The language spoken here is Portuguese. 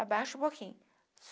Abaixo um pouquinho.